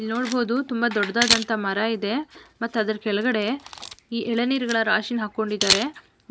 ಇಲ್ ನೋಡ್ಬೋದು ತುಂಬಾ ದೊಡ್ಡದಾದಂಥ ಮರ ಇದೆ ಮತ್ತೆ ಅದರ ಕೆಳಗಡೆ ಈ ಎಳನೀರಿನ ರಾಶಿ ಹಾಕೊಂಡಿದ್ದಾರೆ